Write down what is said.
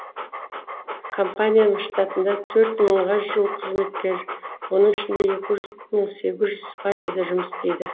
компанияның штатында төрт мыңға жуық қызметкер оның ішінде екі мың сегіз жүзі испанияда жұмыс істейді